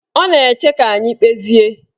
Ọ na-eche ka anyị kpezie